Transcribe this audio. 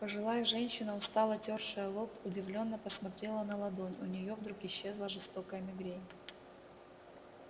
пожилая женщина устало тёршая лоб удивлённо посмотрела на ладонь у неё вдруг исчезла жестокая мигрень